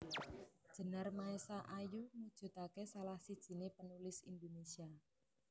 Djenar Maesa Ayu mujudake salah sijiné penulis Indonesia